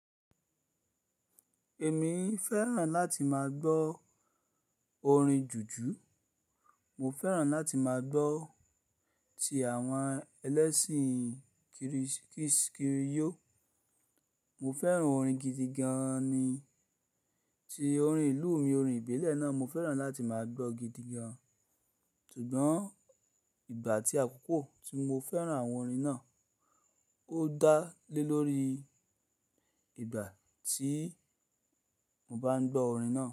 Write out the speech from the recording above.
Èmi fẹ́ràn láti máa gbọ́ orin jùjú. Mo fẹ́ràn láti máa gbọ́ ti àwọn ẹlẹ́ṣin Kiris-kiss kiriyo. Mo fẹ́ràn orin gidi gan ni, ti orin ìlú mi orin ìbílẹ̀ náà mo fẹ́ràn láti máa gbọ́ gidi gan. Ṣùgbọ́n ìgbà tí àkọ́kọ́ tí mo fẹ́ràn àwọn orin náà ó dá lé lórí ìgbà tí mo bá ń gbọ́ orin náà.